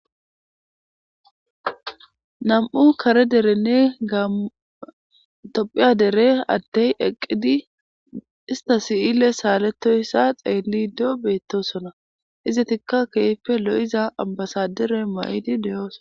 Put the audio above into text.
Nam"u kare derenne tophphiya dere adey eqidi ista si"iley saletoyssa xelido betosona izetikka kehippe lo'iza ambasadere mayidi de'osonna